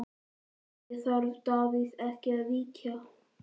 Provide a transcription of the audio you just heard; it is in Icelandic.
Andri: Þarf Davíð ekki að víkja?